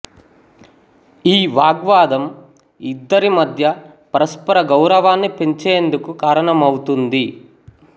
ఈ వాగ్వాదం ఇద్దరి మధ్య పరస్పర గౌరవాన్ని పెంచేందుకు కారణమవుతుంది